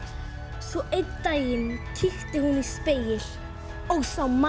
svo einn daginn kíkti hún í spegil og sá mann